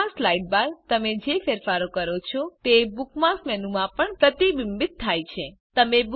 bookmarks sidebar તમે જે ફેરફારો કરો છો તે બુકમાર્ક્સ મેનુ માં પણ પ્રતિબિંબિત થાય છે